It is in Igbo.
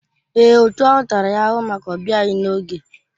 Èè, òtù ahụ tara ya ahụhụ maka ọbịaghi n'oge.